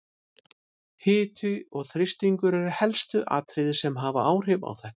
Hiti og þrýstingur eru helstu atriðin sem hafa áhrif á þetta.